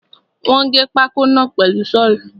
Wọ́n gé pákó náà pẹ̀lú Ṣọ́ọ̀lù.